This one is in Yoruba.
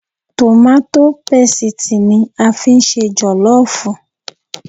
Tòmátó pesìtì ni a fi ń ṣe jọ̀lọ́ọ̀fù